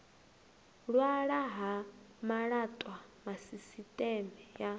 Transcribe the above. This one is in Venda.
hwalwa ha malaṱwa sisiṱeme ya